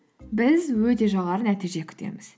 біз өте жоғары нәтиже күтеміз